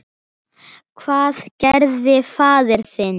Hvað gerði faðir þinn?